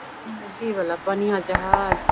नदी वाला पानियां जहाज --